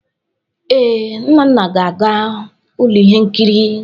Ee, Nnanna na-aga ụlọ ihe nkiri.